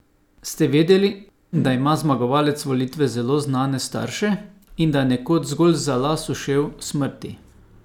Ste vedeli, da ima zmagovalec volitev zelo znane starše in da je nekoč zgolj za las ušel smrti?